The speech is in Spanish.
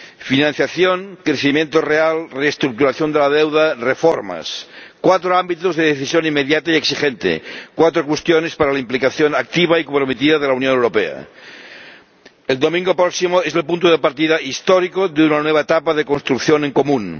Financiación, crecimiento real, reestructuración de la deuda, reformas cuatro ámbitos de decisión inmediata y exigente, cuatro cuestiones para la implicación activa y comprometida de la Unión Europea. El domingo próximo es el punto de partida histórico de una nueva etapa de construcción en común